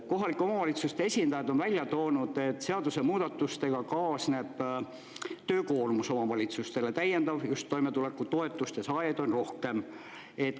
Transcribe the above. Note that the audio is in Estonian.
Kohalike omavalitsuste esindajad on välja toonud, et seadusemuudatustega kaasneb töökoormus omavalitsustele, täiendav, just toimetulekutoetuste saajaid on rohkem.